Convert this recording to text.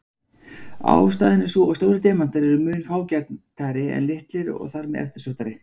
Ástæðan er sú að stórir demantar eru mun fágætari en litlir og þar með eftirsóttari.